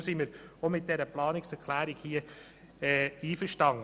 Deshalb sind wir mit dieser Planungserklärung einverstanden.